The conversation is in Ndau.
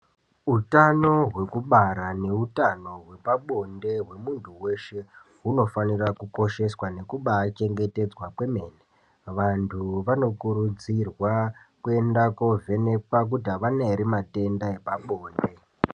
Utano hwekubara nehutano hwepabonde hwemuntu veshe hunofanira kukosheswa nekubachengetedzwa kwemene. Vantu vanokurudzirwa kuenda kovhenekwa kuti havana ere matenda epabonde.